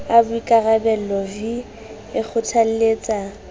a boikarabello v e kgothalletsa